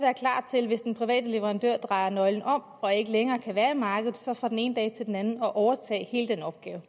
til hvis den private leverandør drejer nøglen om og ikke længere kan være i markedet så fra den ene dag til den anden at overtage hele den opgave